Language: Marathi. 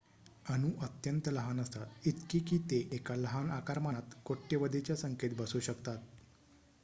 अणू अत्यंत लहान असतात इतके की ते एका लहान आकारमानात कोट्यवधीच्या संख्येत बसू शकतात